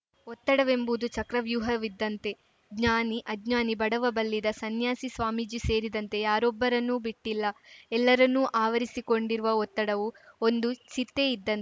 ಒತ್ತಡವೆಂಬುದು ಚಕ್ರವ್ಯೂಹವಿದ್ದಂತೆ ಜ್ಞಾನಿಅಜ್ಞಾನಿ ಬಡವಬಲ್ಲಿದ ಸನ್ಯಾಸಿಸ್ವಾಮೀಜಿ ಸೇರಿದಂತೆ ಯಾರೊಬ್ಬರನ್ನೂ ಬಿಟ್ಟಿಲ್ಲ ಎಲ್ಲರನ್ನೂ ಆವರಿಸಿಕೊಂಡಿರುವ ಒತ್ತಡವು ಒಂದು ಚಿತೆ ಇದ್ದಂತ್